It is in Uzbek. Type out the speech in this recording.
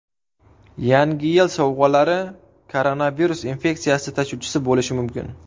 Yangi yil sovg‘alari koronavirus infeksiyasi tashuvchisi bo‘lishi mumkin.